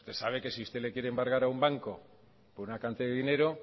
usted sabe que si usted le quiere embargar a un banco por una cantidad de dinero